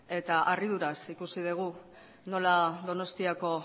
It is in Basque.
eta harriduraz ikusi dugu nola donostiako